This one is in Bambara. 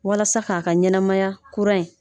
Walasa k'a ka ɲɛnɛmaya kura in